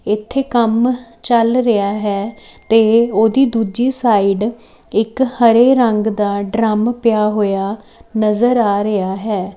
ਇੱਥੇ ਕੰਮ ਚੱਲ ਰਿਹਾ ਹੈ ਤੇ ਉਹਦੀ ਦੂਜੀ ਸਾਈਡ ਇੱਕ ਹਰੇ ਰੰਗ ਦਾ ਡਰੰਮ ਪਿਆ ਹੋਇਆ ਨਜ਼ਰ ਆ ਰਿਹਾ ਹੈ।